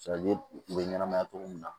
u bɛ ɲɛnamaya togo min na